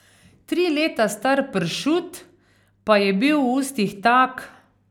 Tri leta star pršut, pa je bil v ustih tak ...